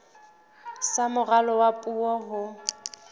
sa moralo wa puo ho